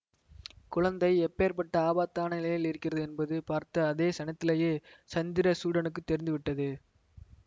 குழந்தை எப்பேர்ப்பட்ட ஆபத்தான நிலையில் இருக்கிறது என்பது பார்த்த அதே க்ஷணத்திலேயே சந்திரசூடனுக்குத் தெரிந்து விட்டது